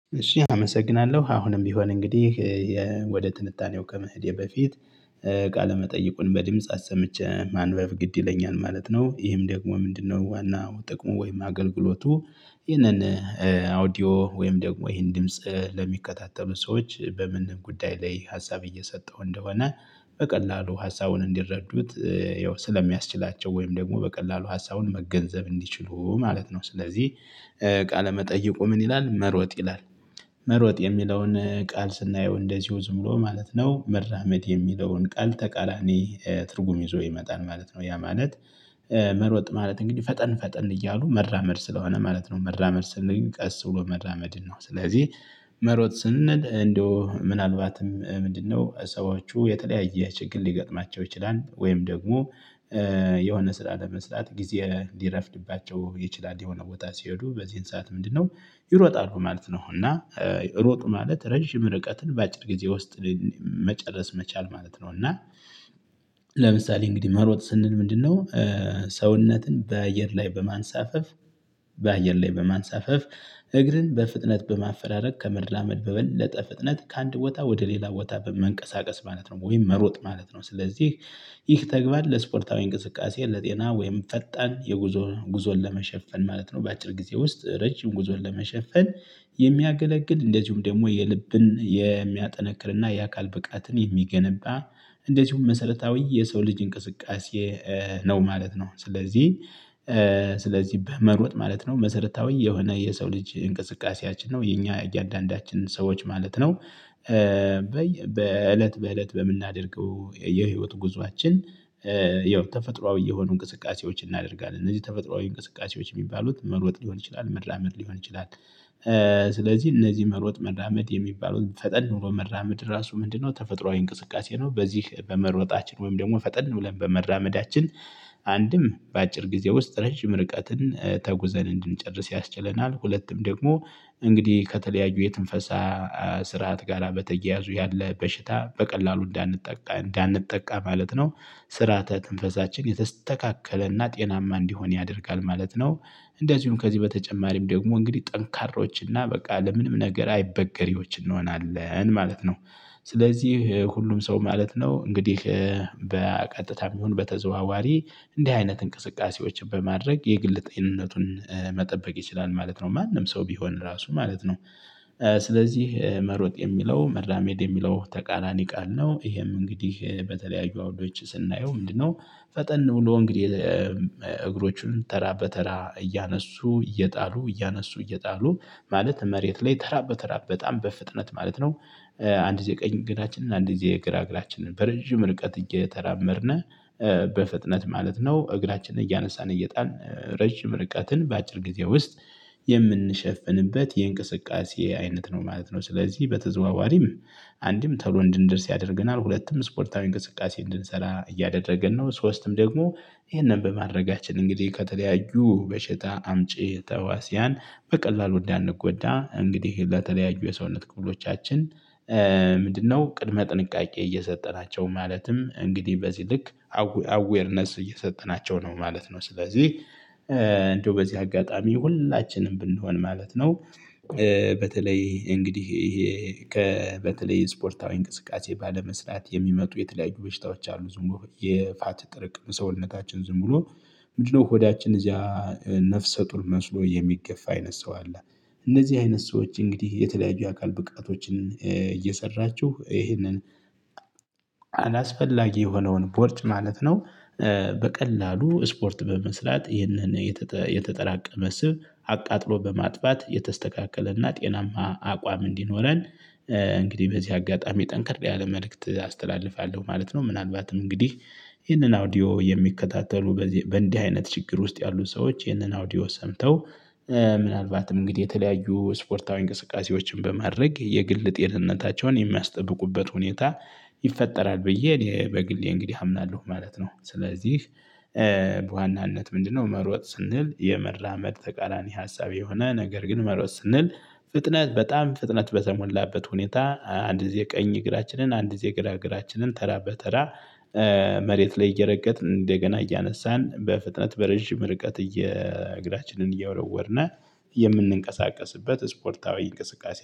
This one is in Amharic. እሺ አመሰግናለሁ አሁንም ቢሆን እንግዲህ ወደ ትንታኔው ከመሄዴ በፊት ቃለ መጠይቁን በድምጽ አሰምቼ ማንበብ ግድ ይለኛል ማለት ነው። ይህም ደግሞ ምንድን ነው ዋናው ጥቅሙ ወይም አገልግሎቱ? ይህንን አውዲዮ ወይም ደግሞ ይህን ድምጽ ለሚከታተሉ ሰዎች በምን ጉዳይ ላይ ሀሳብ እየሰጠሁ እንደሆነ በቀላሉ ሀሳቡን እንዲረዱት ያው ስለሚያስችላቸው ወይም ደግሞ በቀላሉ ሀሳቡን መገንዘብ እንዲችሉ ማለት ነው። ስለዚህ ቃለመጠይቁ ምን ይላል መሮጥ ይላል? መሮጥ የሚለውን ቃል ስናየው እንደዚሁ ዝም ብሎ ማለት ነው መራመድ የሚለውን ቃል ተቃራኒ ትርጉም ይዞ ይመጣል ማለት ነው። ያ ማለት መሮጥ ማለት እንግዲህ ፈጠን ፈጠን እያሉ መራመድ ስለሆነ ማለት ነው። መራመድ ስንል ቀስ ብሎ መራመድን ነው ስለዚህ። መሮጥ ስንል እንደው ምናልባትም ምንድን ነው ሰዎች የተለያየ ችግር ሊገጥማቸው ይችላል ወይም ደግሞ የሆነ ስራ ለመስራት ጊዜ ሊረፍድባቸው ይችላል የሆነ ቦታ ሲሄዱ በዚህን ሰዓት ምንድን ነው? ይሮጣሉ ማለት ነው። እና ሮጡ ማለት ረጅም ርቀትን በአጭር ጊዜ ውስጥ መጨረስ መቻል ማለት ነው። እና ለምሳሌ እንግዲህ መሮጥ ስንል ምንድን ነው? ሰውነትን በአየር ላይ በማንሳፈፍ በአየር ላይ በማንሳፈፍ እግርን በፍጥነት በማፈራረቅ ከመራመድ በበለጠ ፍጥነት ከአንድ ቦታ ወደ ሌላ ቦታ በመንቀሳቀስ ማለት ነው። ወይም መሮጥ ማለት ነው። ስለዚህ ይህ ተግባር ለስፖርታዊ እንቅስቃሴ ለጤና ወይም ፈጣን ጉዞን ለመሸፈን ማለት ነው። በአጭር ጊዜ ውስጥ ረጅም ጉዞን ለመሸፈን የሚያገለግል እንደዚሁም ደግሞ የልብን የሚያጠነክርና የአካል ብቃትን የሚገነባ እንደዚሁም መሰረታዊ የሰው ልጅ እንቅስቃሴ ነው ማለት ነው። ስለዚህ ስለዚህ በመሮጥ ማለት ነው መሰረታዊ የሆነ የሰው ልጅ እንቅስቃሴያችን ነው የኛ እያንዳንዳችንን ሰዎች ማለት ነው። በእለት በእለት በምናደርገው የህይወት ጉዞአችን ያው ተፈጥሮአዊ የሆኑ እንቅስቃሴዎችን እናደርጋለን እነዚህ ተፈጥሮአዊ እንቅስቃሴዎች የሚባሉት መሮጥ ሊሆን ይችላል መራመድ ሊሆን ይችላል። ስለዚህ እነዚህ መሮጥ መራመድ የሚባሉት ፈጠን ብሎ መራመድ ራሱ ምንድን ነው ተፈጥሮአዊ እንቅስቃሴ ነው። በዚህ በመሮጣችን ወይም ደግሞ ፈጠን ብለን በመራመዳችን አንድም በአጭር ጊዜ ውስጥ ረጅም ርቀትን ተጉዘን እንድንጨርስ ያስችለናል። ሁለትም ደግሞ እንግዲህ ከተለያዩ የትንፈሳ ስርዓት ጋራ በተያያዙ ያለ በሽታ በቀላሉ እንዳንጠቃ ማለት ነው። ስርዓተ ትንፈሳችን የተስተካከለና ጤናማ እንዲሆን ያደርጋል ማለት ነው። እንደዚሁም ከዚህ በተጨማሪም ደግሞ እንግዲህ ጠንካሮች እና በቃ ለምንም ነገር አይበገሬዎች እንሆናለን ማለት ነው። ስለዚህ ሁሉም ሰው ማለት ነው እንግዲህ በቀጥታም ይሁን በተዘዋዋሪ እንዲህ አይነት እንቅስቃሴዎችን በማድረግ የግል ጤንነቱን መጠበቅ ይችላል ማለት ነው። ማንም ሰው ቢሆን ራሱን ማለት ነው። ስለዚህ መሮጥ የሚለው መራመድ የሚለው ተቃራኒ ቃል ነው። ይሄም እንግዲህ በተለያዩ አውዶች ስናየው ምንድን ነው? ፈጠን ብሎ እንግዲህ እግሮቹን ተራ በተራ እያነሱ እየጣሉ እያነሱ እየጣሉ ማለት መሬት ላይ ተራ በተራ በጣም በፍጥነት ማለት ነው። አንድ ጊዜ ቀኝ እግራችንን አንድ ጊዜ ግራ እግራችንን በረጅም ርቀት እየተራመድን በፍጥነት ማለት ነው እግራችንን እያነሳን እየጣልን ረጅም ርቀትን በአጭር ጊዜ ውስጥ የምንሸፍንበት የእንቅስቃሴ አይነት ነው ማለት ነው። ስለዚህ በተዘዋዋሪም አንድም ቶሎ እንድንደርስ ያደርገናል ሁለትም ስፖርታዊ እንቅስቃሴ እንድንሰራ እያደረግን ነው። ሶስትም ደግሞ ይሄንን በማድረጋችን እንግዲህ ከተለያዩ በሽታ አምጪ ተህዋሲያን በቀላሉ እንዳንጎዳ እንግዲህ ለተለያዩ የሰውነት ክፍሎቻችን። ምንድን ነው ቅድመ ጥንቃቄ እየሰጠናቸው ማለትም እንግዲህ በዚህ ልክ አዌርነስ እየሰጠናቸው ነው ማለት ነው። ስለዚህ እንዴው በዚህ አጋጣሚ ሁላችንም ብንሆን ማለት ነው። በተለይ እንግዲህ ይሄ በተለይ ስፖርታዊ እንቅስቃሴ ባለመስራት የሚመጡ የተለያዩ በሽታዎች አሉ ዝም ብሎ የፋት ጥርቅም ሰውነታችን ዝም ብሎ ምንድን ነው ሆዳችን እዚያ ነፍሰ ጡር መስሎ የሚገፋ አይነት ሰው አለ እንደዚህ አይነት ሰዎች እንግዲህ የተለያዩ የአካል ብቃቶችን እየሰራችሁ ይህንን አላስፈላጊ የሆነውን ቦርጭ ማለት ነው። በቀላሉ ስፖርት በመስራት ይህንን የተጠራቀመ ስብ አቃጥሎ በማጥፋት የተስተካከለና ጤናማ አቋም እንዲኖረን እንግዲህ በዚህ አጋጣሚ ጠንክር ያለ መልእክት አስተላልፋለሁ ማለት ነው። ምናልባትም እንግዲህ ይህንን አውዲዮ የሚከታተሉ በእንዲህ አይነት ችግር ውስጥ ያሉ ሰዎች ይህንን አውዲዮ ሰምተው ምናልባትም እንግዲህ የተለያዩ ስፖርታዊ እንቅስቃሴዎችን በማድረግ የግል ጤንነታቸውን የሚያስጠብቁበት ሁኔታ ይፈጠራል ብዬ እኔ በግሌ እንግዲህ አምናለሁ ማለት ነው። ስለዚህ በዋናነት ምንድነው መሮጥ ስንል የመራመድ ተቃራኒ ሀሳብ የሆነ ነገር ግን መሮጥ ስንል ፍጥነት በጣም ፍጥነት በተሞላበት ሁኔታ አንድ ጊዜ ቀኝ እግራችንን አንድ ጊዜ ግራ እግራችንን ተራ በተራ መሬት ላይ እየረገጥን እንደገና እያነሳን በፍጥነት በረዥም ርቀት እግራችንን እየወረወርን የምንቀሳቀስበት ስፖርታዊ እንቅስቃሴ